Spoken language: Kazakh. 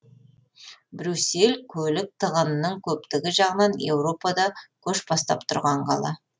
брюссель көлік тығынының көптігі жағынан еуропада көш бастап тұрған қала